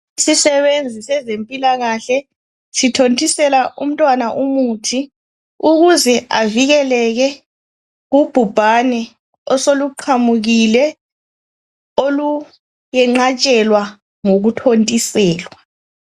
Isisebenzi sezempilakahle sithontisela umntwana umuthi ukuze avikeleke kubhubhane osoluqhamukile oluyenqatshelwa ngokuthontiselwa.